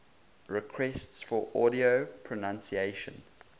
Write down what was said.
requests for audio pronunciation